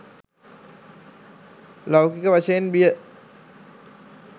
ලෞකික වශයෙන් බිය